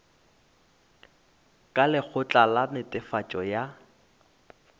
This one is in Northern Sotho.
ka lekgotla la netefatšo ya